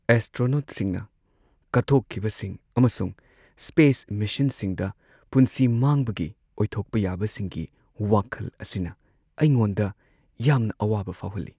ꯑꯦꯁꯇ꯭ꯔꯣꯅꯣꯠꯁꯤꯡꯅ ꯀꯠꯊꯣꯛꯈꯤꯕꯁꯤꯡ ꯑꯃꯁꯨꯡ ꯁ꯭ꯄꯦꯁ ꯃꯤꯁꯟꯁꯤꯡꯗ ꯄꯨꯟꯁꯤ ꯃꯥꯡꯕꯒꯤ ꯑꯣꯏꯊꯣꯛꯄ ꯌꯥꯕꯁꯤꯡꯒꯤ ꯋꯥꯈꯜ ꯑꯁꯤꯅ ꯑꯩꯉꯣꯟꯗ ꯌꯥꯝꯅ ꯑꯋꯥꯕ ꯐꯥꯎꯍꯜꯂꯤ꯫